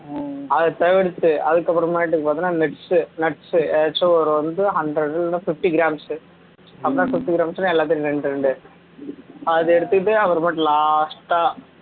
அதை தவிர்த்து அதுக்கு அப்பறமாட்டுக்கு பாத்தன்னா nuts nuts எதாச்சும் ஒரு வந்து hundred இல்ல fifty grams hundred and fifty grams னா எல்லாத்துலையும் ரெண்டு ரெண்டு அதை எடுத்துகிட்டு அப்பறமாட்டி last ஆ